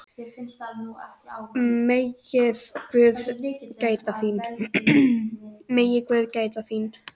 Megi guð gæta þín.